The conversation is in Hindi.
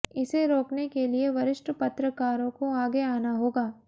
इसे रोकने के लिए वरिष्ठ पत्रकारों को आगे आना होगा